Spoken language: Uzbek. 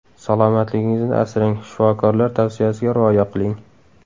Salomatligingizni asrang, shifokorlar tavsiyasiga rioya qiling.